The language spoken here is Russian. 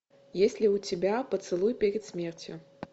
есть ли у тебя поцелуй перед смертью